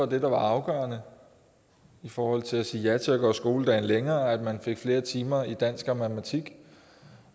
der var afgørende i forhold til at sige ja til at gøre skoledagen længere at man fik flere timer i dansk og matematik